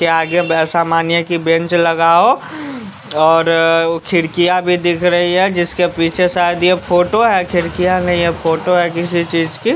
के आगे ऐसा मानिए कि बेंच लगाओ और अ खिड़कियां भी दिख रही है जिसके पीछे शायद यह फोटो है खिड़कियां नहीं है फोटो है किसी चीज की --